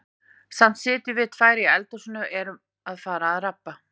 Samt sitjum við tvær í eldhúsinu og erum að fara að rabba.